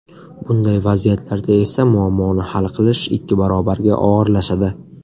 Bunday vaziyatlarda esa muammoni hal qilish ikki barobarga og‘irlashadi.